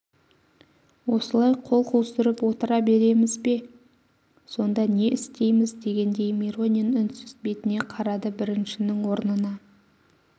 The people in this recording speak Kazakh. осылай қол қусырып отыра береміз бе сонда не істеймз дегендей миронин үнсіз бетіне қарады біріншінің орнына